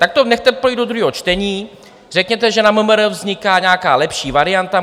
Tak to nechte projít do druhého čtení, řekněte, že na MMR vzniká nějaká lepší varianta.